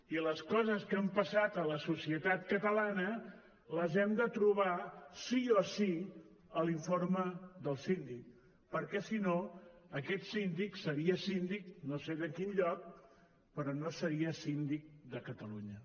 i les coses que han passat a la societat catalana les hem de trobar sí o sí a l’informe del síndic perquè si no aquest síndic seria síndic no sé de quin lloc però no seria síndic de catalunya